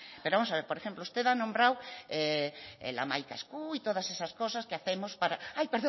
pero vamos a ver por ejemplo usted ha nombrado el hamaika esku y todas esas cosas que hacemos para hay